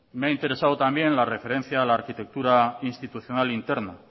me he interesado también la referencia a la arquitectura institucional interna